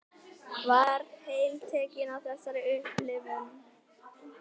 Var heltekin af þessari upplifun.